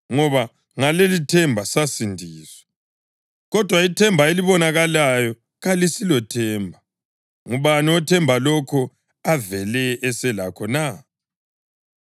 Ngoba ngalelithemba sasindiswa. Kodwa ithemba elibonakalayo kalisilothemba. Ngubani othemba lokho avele eselakho na?